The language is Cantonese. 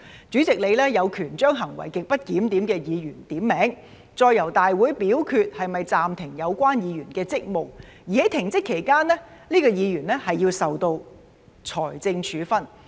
主席有權將行為極不檢點的議員點名，再由大會表決是否暫停有關議員的職務；而在停職期間，這名議員須受到財政處分。